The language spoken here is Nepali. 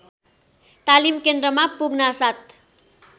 तालिम केन्द्रमा पुग्नासाथ